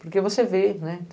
Porque você vê, né?